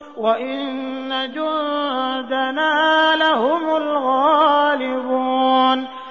وَإِنَّ جُندَنَا لَهُمُ الْغَالِبُونَ